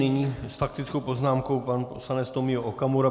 Nyní s faktickou poznámkou pan poslanec Tomio Okamura.